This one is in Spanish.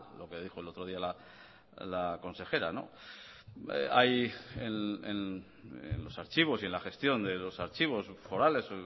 lo que dijo el otro día la consejera hay en los archivos y en la gestión de los archivos forales